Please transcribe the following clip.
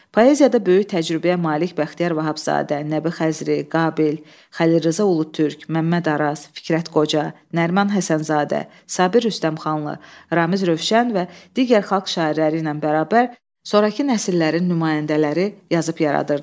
Poeziyada böyük təcrübəyə malik Bəxtiyar Vahabzadə, Nəbi Xəzri, Qabil, Xəlil Rza Ulutürk, Məmməd Araz, Fikrət Qoca, Nəriman Həsənzadə, Sabir Rüstəmxanlı, Ramiz Rövşən və digər xalq şairləri ilə bərabər sonrakı nəsillərin nümayəndələri yazıb yaradırdılar.